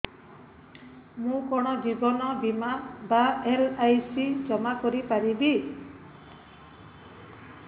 ମୁ କଣ ଜୀବନ ବୀମା ବା ଏଲ୍.ଆଇ.ସି ଜମା କରି ପାରିବି